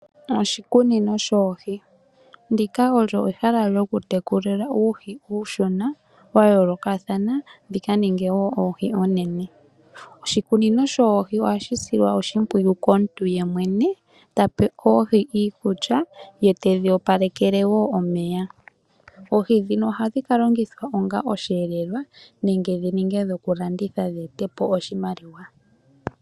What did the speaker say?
Oshikunino shoohi, ndika olyo ehala lyokutekulila uuhi uunshona wayoolokathana dhika ninge woo oohi oonene. Oshikunino shoohi ohashi silwa oshimpwiyu komuntu yemwene tape oohi iikulya ye tedhi wapalekele woo omeya. Oohi dhino ohadhi kalongithwa onga osheelelwa nenge dhininge dhokulanditha dheete po oshimaliwa.